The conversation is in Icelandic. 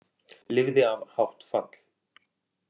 Lifði af hátt fall